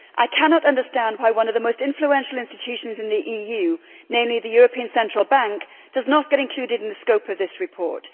I cannot understand why one of the most influential institutions in the EU, namely the European Central Bank, does not get included in the scope of this report.